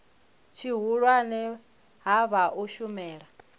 tshihulwane ha vha u shumela